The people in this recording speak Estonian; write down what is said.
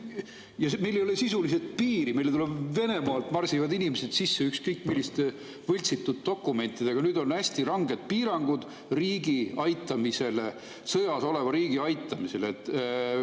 Meil ei ole sisuliselt piiri, meile Venemaalt marsivad inimesed sisse ükskõik milliste võltsitud dokumentidega, aga nüüd on hästi ranged piirangud sõjas oleva riigi aitamisele.